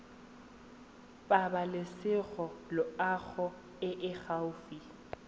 pabalesego loago e e gaufi